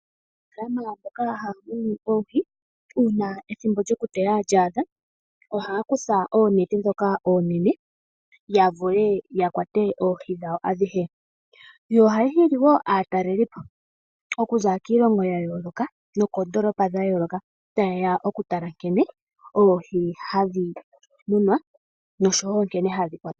Aanafalama mboka haya munu oohi uuna ethimbo lyoku teya lya adha ohaya kutha oonete ndhoka oonene ya vule oku kwata oohi dhawo adhihe, sho ohashi hili wo aataleli po okuza kiilongo ya yooloka nokoondoolopa dha yooloka taye ya ya tale nkene oohi hadhi munwa nankene hadhi yuulwa mo momeya.